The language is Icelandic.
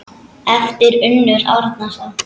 eftir Unnar Árnason